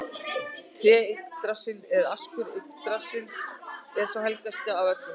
Tréð Yggdrasill eða askur Yggdrasils er sá helgasti af öllum.